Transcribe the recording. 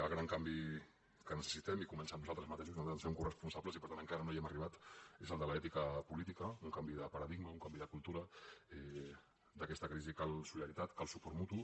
el gran canvi que necessitem i comença en nosaltres mateixos i nosaltres ens en fem coresponsables i per tant encara no hi hem arribat és el de l’ètica política un canvi de paradigma un canvi de cultura d’aquesta crisi cal solidaritat cal suport mutu